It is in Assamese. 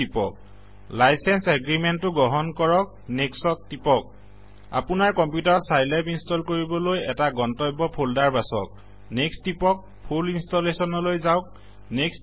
টিপক লাইচেঞ্চ এগ্ৰিমেন্তটো গ্ৰহণ কৰক নেক্সট ত টিপক আপোনাৰ কম্পিউটাৰত চাইলেব ইনষ্টল কৰিবলৈ এটা গন্তব্য ফল্ডাৰ বাচক নেক্সট টিপক ফোল ইনষ্টলেচনলৈ যাওঁক নেক্সট